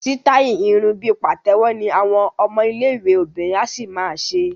Sítáì irun bí pàtẹ́wọ́ ni àwọn ọmọ iléèwé obìnrin á ṣì ma ṣe